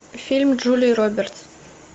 фильм джулии робертс